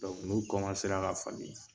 n'u ra k'a fami